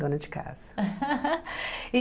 Dona de casa. E